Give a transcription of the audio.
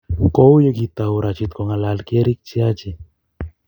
kou ye kitou Rashid kongalal kiyerikchi Haji.